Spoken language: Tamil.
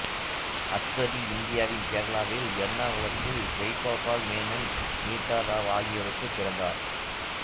அஸ்வதி இந்தியாவின் கேரளாவின் எர்ணாகுளத்தில் ஜெய்கோபால் மேனன் வினிதா ராவ் ஆகியோருக்குப் பிறந்தார்